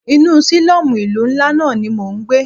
Inú sílọ́mù ìlú ńlá náà ní mọ ń gbé.